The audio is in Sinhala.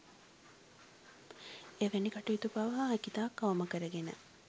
එවැනි කටයුතු පවා හැකිතාක් අවම කරගෙන